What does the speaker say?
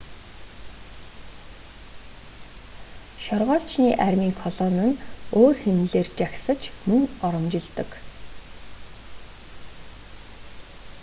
шоргоолжны армийн колони нь өөр хэмнэлээр жагсаж мөн оромжилдог